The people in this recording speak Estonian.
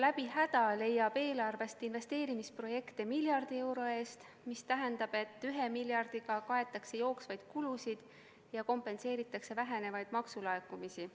Läbi häda leiab eelarvest investeerimisprojekte miljardi euro eest, mis tähendab, et ühe miljardiga kaetakse jooksvaid kulusid ja kompenseeritakse vähenevaid maksulaekumisi.